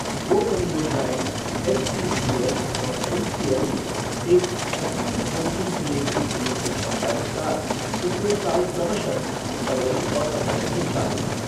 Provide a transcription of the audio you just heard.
दो परियोजनाएं एसईसीएल और एमसीएल में एक एक छब्बीस एमटीपीए की संयुक्त क्षमता के साथ पिछले साल क्रमशः फरवरी और अप्रैल से चालू हैं।